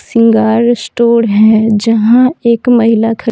श्रृंगार स्टोर है जहां एक महिला --